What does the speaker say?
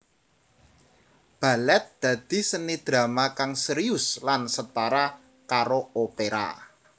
Balèt dadi seni drama kang sérius lan setara karo opera